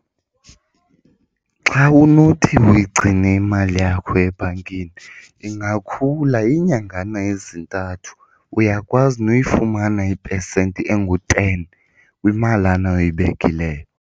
Xa unothi uyigcine imali yakho ebhankini ingakhula iinyangana ezintathu. Uyakwazi noyifumana ipesenti enguteni kwimalana oyibekileyo.